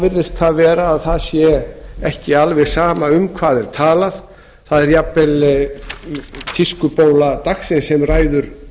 virðist það að vera að það sé ekki alveg sama um hvað er talað það er jafnvel tískubóla dagsins sem ræður